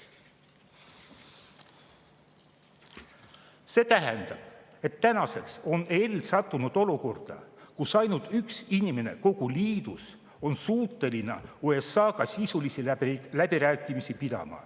See tähendab, et tänaseks on EL sattunud olukorda, kus ainult üks inimene kogu liidus on suuteline USA-ga sisulisi läbirääkimisi pidama.